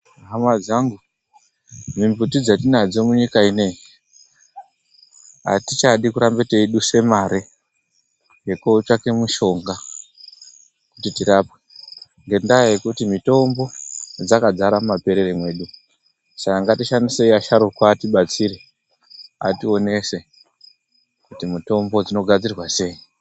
Hama dzangu mimbuti dzatinadzo munyika ineyi atichada kuramba teidusa mare ngekotsvaka mishonga kuti tirapwe ngenda yekuti mitombo dzakazara mumaperere medu Saka ngatishandisei asharukwa atibatsire ationese kuti mutombo dzinogadzirwa sei.